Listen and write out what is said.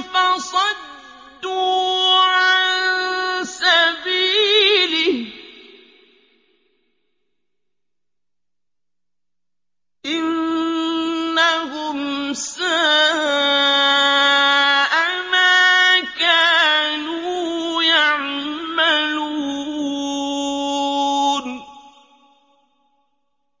فَصَدُّوا عَن سَبِيلِهِ ۚ إِنَّهُمْ سَاءَ مَا كَانُوا يَعْمَلُونَ